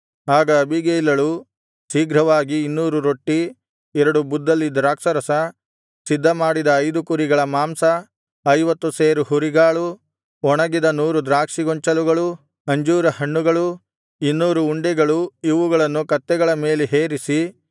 ಆಗ ಅಬೀಗೈಲಳು ಶೀಘ್ರವಾಗಿ ಇನ್ನೂರು ರೊಟ್ಟಿ ಎರಡು ಬುದ್ದಲಿ ದ್ರಾಕ್ಷಾರಸ ಸಿದ್ಧಮಾಡಿದ ಐದು ಕುರಿಗಳ ಮಾಂಸ ಐವತ್ತು ಸೇರು ಹುರಿಗಾಳು ಒಣಗಿದ ನೂರು ದ್ರಾಕ್ಷಿ ಗೊಂಚಲುಗಳು ಅಂಜೂರ ಹಣ್ಣುಗಳು ಇನ್ನೂರು ಉಂಡೆಗಳು ಇವುಗಳನ್ನು ಕತ್ತೆಗಳ ಮೇಲೆ ಹೇರಿಸಿ